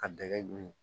Ka dɛgɛ dun